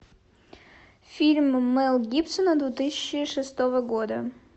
фильм мел гибсона две тысячи шестого года